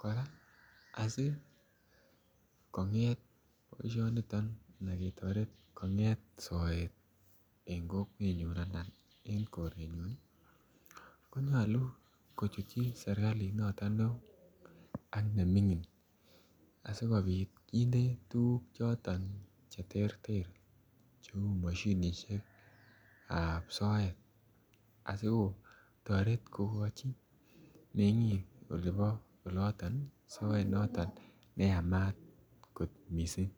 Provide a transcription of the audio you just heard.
Koraa asikonget boishoniton an ketoret konget soet en kokwenyun anan en korenyun koyoche kochutyi sirkalit noton neo ak nemingin asikopit kinde tukuk choton cheterter cheu mashinishekab soet asikotoret kokochi mengi olibo oloton soet noton neyamat kot missing.